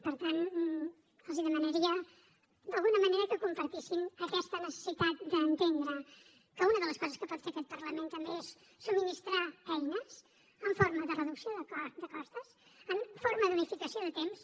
per tant els demanaria d’alguna manera que compartissin aquesta necessitat d’entendre que una de les coses que pot fer aquest parlament també és subministrar eines en forma de reducció de costes en forma d’unificació de temps